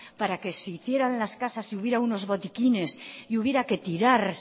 para que se hicieran las casas y hubieran unos botiquines y hubiera que tirar